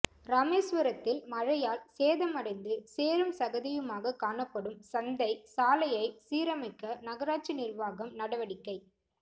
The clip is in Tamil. ராமேசுவரத்தில் மழையால் சேதமடைந்து சேறும் சகதியுமாக காணப்படும் சந்தை சாலையை சீரமைக்க நகராட்சி நிா்வாகம் நடவடிக்கை